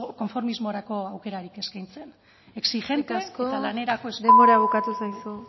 konformismorako aukerarik eskaintzen exigente eta lanerako eskerrik asko denbora bukatu zaizu